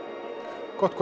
gott